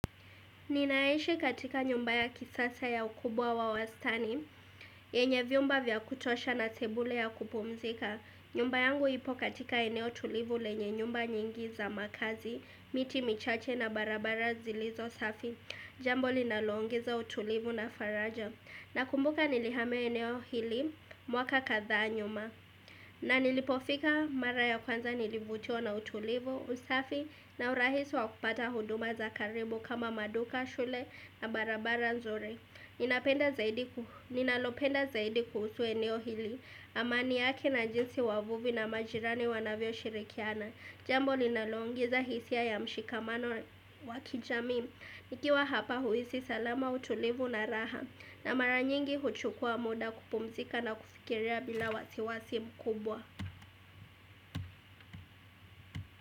Ninaishi katika nyumba ya kisasa ya ukubwa wa wastani, yenye vyumba vya kutosha na sebule ya kupumzika, nyumba yangu ipo katika eneo tulivu lenye nyumba nyingi za makazi, miti michache na barabara zilizo safi, jambo linalo ongeza utulivu na faraja. Nakumbuka nilihamia eneo hili mwaka kadhaa nyuma na nilipofika mara ya kwanza nilivutiwa na utulivu, usafi na urahisi wa kupata huduma za karibu kama maduka shule na barabara nzuri. Ninalopenda zaidi kuhusu eneo hili amani yake na jinsi wavuvi na majirani wanavyoshirikiana. Jambo linaloongeza hisia ya mshikamano wa kijamii nikiwa hapa huhisi salama utulivu na raha. Na mara nyingi huchukua muda kupumzika na kufikiria bila wasiwasi mkubwa.